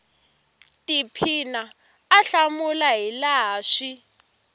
tiphina a hlamula hilaha swi